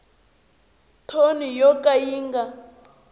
thoni yo ka yi nga